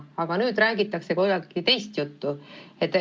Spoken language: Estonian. Aga nüüd räägitakse kuidagi teist juttu.